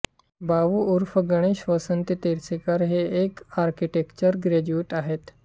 भाऊ उर्फ गणेश वसंत तोरसेकर हे एक आर्किटेक्चर ग्रॅज्युएट आहेत